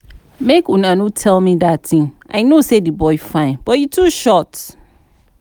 Make una no dey tell me dat thing, I know say the boy fine but he too short